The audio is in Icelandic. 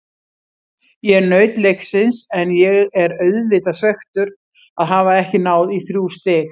Ég naut leiksins en ég er auðvitað svekktur að hafa ekki náð í þrjú stig.